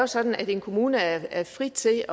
sådan at en kommune er fri til